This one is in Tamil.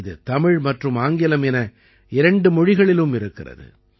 இது தமிழ் மற்றும் ஆங்கிலம் என இரண்டு மொழிகளிலும் இருக்கிறது